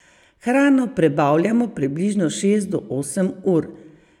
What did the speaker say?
Hrano prebavljamo približno šest do osem ur.